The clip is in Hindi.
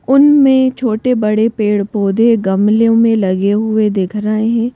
उनमें छोटे-बड़े पेड़-पौधे गमलों में लगे हुए दिख रहे हैं।